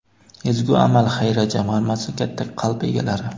"Ezgu amal" xayriya jamg‘armasi - katta qalb egalari.